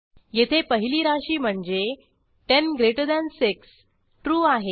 येथे पहिली राशी म्हणजे 106 ट्रू आहे